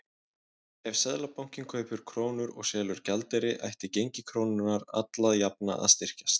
Ef Seðlabankinn kaupir krónur og selur gjaldeyri ætti gengi krónunnar alla jafna að styrkjast.